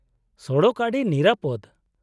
-ᱥᱚᱲᱚᱠ ᱟᱹᱰᱤ ᱱᱤᱨᱟᱹᱯᱚᱫᱽ ᱾